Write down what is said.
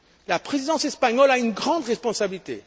Conseil. La Présidence espagnole a une grande responsabilité.